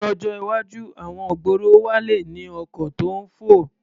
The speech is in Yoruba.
Lọ́jọ́ iwájú, àwọn ìgboro wa le ní ọkọ̀ tó ń fò.